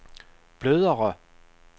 blødere